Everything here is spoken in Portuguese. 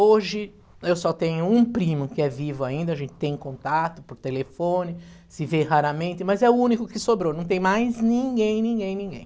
Hoje, eu só tenho um primo que é vivo ainda, a gente tem contato por telefone, se vê raramente, mas é o único que sobrou, não tem mais ninguém, ninguém, ninguém.